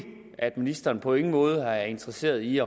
at ministeren på ingen måde er interesseret i